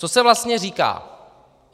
Co se vlastně říká?